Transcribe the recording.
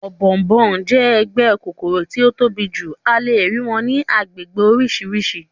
Ọ̀bọ̀ọ̀nbọọ̀n jẹ́ ẹgbẹ́ kòkòrò tí ó tóbi jù, a lè rí wọn ní agbègbè oríṣiríṣi